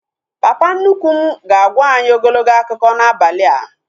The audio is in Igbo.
Papa nnukwu m ga-agwa anyị ogologo akụkọ n'abalị a